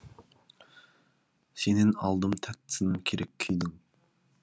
сенен алдым тәттісін керек күйдің